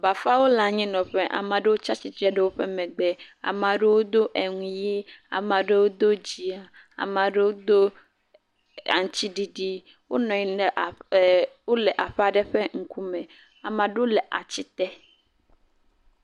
Bafawo le anyinɔƒe, amea ɖewo tsatsitre ɖe woƒe megbe, amea ɖewo do eŋu ʋɛ̃, amea ɖewo do dzɛ̃, amea ɖewo do aŋutiɖiɖi, wole e, wonɔ anyi ɖe aƒe aɖe ƒe ŋkume. Amea ɖewo le ati te.